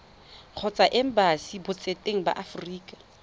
kgotsa embasing botseteng ba aforika